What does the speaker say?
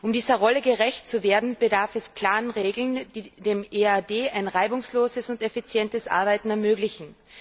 Um dieser Rolle gerecht zu werden, bedarf es klarer Regeln, die dem EAD ein reibungsloses und effizientes Arbeiten ermöglichen.